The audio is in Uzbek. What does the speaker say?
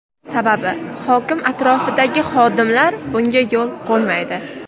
Sababi hokim atrofidagi xodimlar bunga yo‘l qo‘ymaydi.